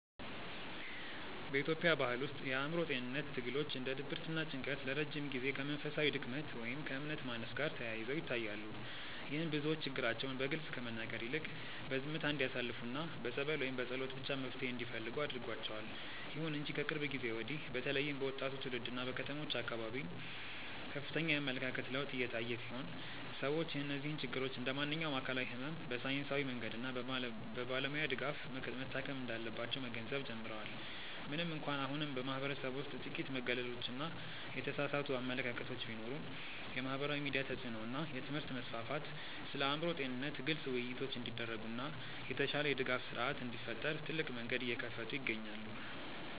በኢትዮጵያ ባሕል ውስጥ የአእምሮ ጤንነት ትግሎች እንደ ድብርትና ጭንቀት ለረጅም ጊዜ ከመንፈሳዊ ድክመት ወይም ከእምነት ማነስ ጋር ተያይዘው ይታያሉ። ይህም ብዙዎች ችግራቸውን በግልጽ ከመናገር ይልቅ በዝምታ እንዲያሳልፉና በጸበል ወይም በጸሎት ብቻ መፍትሔ እንዲፈልጉ አድርጓቸዋል። ይሁን እንጂ ከቅርብ ጊዜ ወዲህ በተለይም በወጣቱ ትውልድና በከተሞች አካባቢ ከፍተኛ የአመለካከት ለውጥ እየታየ ሲሆን፣ ሰዎች እነዚህን ችግሮች እንደ ማንኛውም አካላዊ ሕመም በሳይንሳዊ መንገድና በባለሙያ ድጋፍ መታከም እንዳለባቸው መገንዘብ ጀምረዋል። ምንም እንኳን አሁንም በማኅበረሰቡ ውስጥ ጥቂት መገለሎችና የተሳሳቱ አመለካከቶች ቢኖሩም፣ የማኅበራዊ ሚዲያ ተጽዕኖ እና የትምህርት መስፋፋት ስለ አእምሮ ጤንነት ግልጽ ውይይቶች እንዲደረጉና የተሻለ የድጋፍ ሥርዓት እንዲፈጠር ትልቅ መንገድ እየከፈቱ ይገኛሉ።